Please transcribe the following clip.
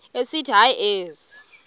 esithi hayi ezi